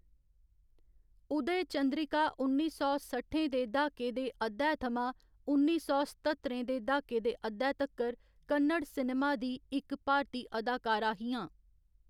उदय चंद्रिका उन्नी सौ सट्ठएं दे द्हाके दे अद्धै थमां उन्नी सौ सत्तरएं दे द्हाके दे अद्धै तक्कर कन्नड़ सिनेमा दी इक भारती अदाकारा हियां।